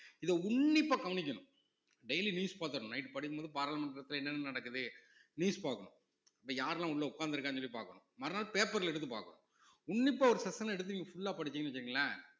இத உன்னிப்பா கவனிக்கணும் daily news பாத்தரணும் night படுக்கும் போது பாராளுமன்றத்தில என்னென்ன நடக்குது news பாக்கணும் இன்னைக்கு யாரெல்லாம் உள்ள உக்காந்துருக்காங்கன்னு சொல்லி பாக்கணும் மறுநாள் paper ல எடுத்து பாக்கணும் உன்னிப்பா ஒரு session எடுத்து நீங்க full ஆ படிச்சீங்கன்னு வெச்சுக்கோங்களேன்